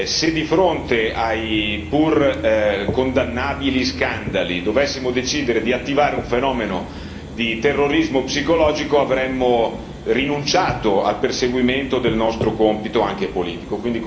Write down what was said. Se di fronte ai pur condannabili scandali dovessimo decidere di attivare un fenomeno di terrorismo psicologico, avremmo rinunciato al perseguimento del nostro compito anche politico.